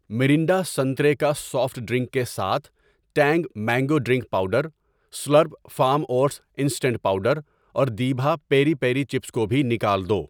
Mirinda سنترے کا soft drink کے ساتھ Tang mango drink powder, Slurrp Farm oats instant powder اور دیبھا پیری پیری چپس کو بھی نکال دو۔